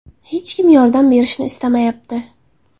Hech kim yordam berishni istamayapti.